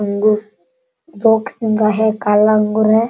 अंगूर दो किस्म का है काला अंगूर है।